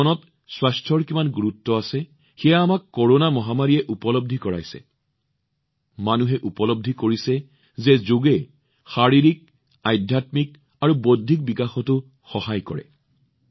আমাৰ জীৱনত স্বাস্থ্যত কিমান অধিক গুৰুত্ব আছে আৰু ইয়াত যোগ কিমান ডাঙৰ মাধ্যম মানুহে উপলব্ধি কৰিছে যে যোগে শাৰীৰিক আধ্যাত্মিক আৰু বৌদ্ধিক সুস্থতাও কিমান বিস্তৃত কৰে